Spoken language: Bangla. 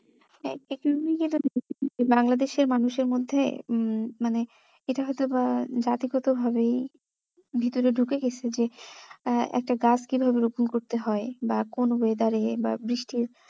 বাংলাদেশের মানুষের মধ্যে উম মানে এটা হয়তো বা জাতিগত ভাবেই ভিতরে ঢুকে গেছে যে আহ একটা গাছ কিভাবে রোপন করতে হয় বা কোন weather এ বা বৃষ্টির